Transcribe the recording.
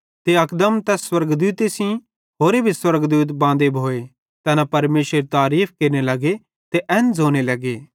ते अकदम तैस स्वर्गदूते सेइं खासे स्वर्गदूत बांदे भोए ते तैना परमेशरेरी तारीफ़ केरने लगे ते एन ज़ोने लगे